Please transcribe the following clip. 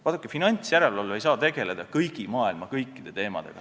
Vaadake, finantsjärelevalve ei saa tegeleda maailma kõikide teemadega.